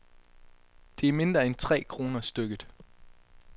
Det er mindre end tre kroner stykket.